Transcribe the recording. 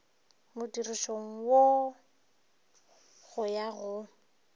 modirišong wo go ya go